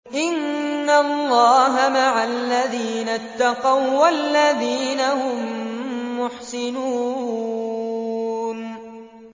إِنَّ اللَّهَ مَعَ الَّذِينَ اتَّقَوا وَّالَّذِينَ هُم مُّحْسِنُونَ